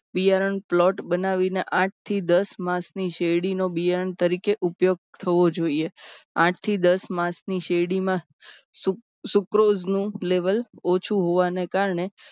બિયારણ plot બનાવીને આઠ થી દશ માસની શેરડીનો બિયારણ તરીકે ઉપયોગ થવો જોઈએ. આઠ થી દસ માસની શેરડીમાં sucrose નું level ઓછું હોવાને કારણે